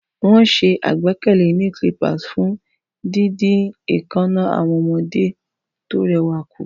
Wọ́n ṣe àgbékalẹ̀ Nail Clippers fún dídín èékánná àwọn ọmọdé tó rẹwà kù.